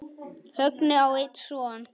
Högni á einn son.